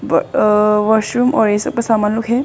अ washroom और ये सब का सामान लोग है।